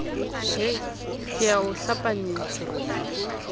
he ke a o hlapanyetsa